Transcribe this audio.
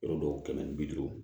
Yɔrɔ dɔw kɛmɛ ni bi duuru